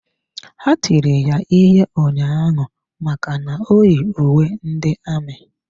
Ha tiri ya ihe ụnyaahụ maka na o yi uwe ndị amị.